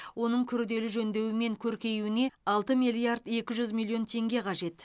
оның күрделі жөндеуі мен көркеюуіне алты миллиард екі жүз миллион теңге қажет